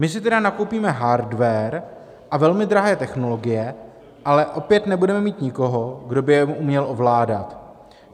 My si tedy nakoupíme hardware a velmi drahé technologie, ale opět nebudeme mít nikoho, kdo by je uměl ovládat.